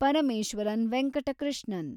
Parameswaran Venkata Krishnan